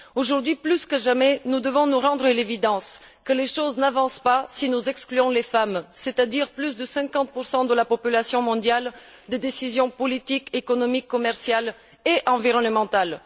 Aujourd'hui plus que jamais, nous devons nous rendre à l'évidence que les choses n'avancent pas si nous excluons les femmes c'est à dire plus de 50 de la population mondiale des décisions politiques, économiques, commerciales et environnementales.